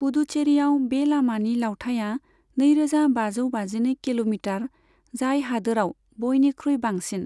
पुडुचेरीयाव बे लामानि लावथाइया नैरोजा बाजौ बाजिनै किल'मिटार, जाय हादोरआव बयनिख्रुइ बांसिन।